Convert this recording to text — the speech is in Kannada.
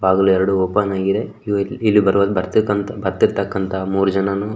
ಬಾಗಿಲು ಎರಡು ಓಪನ್ ಆಗಿದೆ ಇಲ್ಲಿ ಬರ್ತೀ ಬರ್ತಿರ್ತಾಕ್ಕಂತಹ ಮೂರೂ ಜನನು --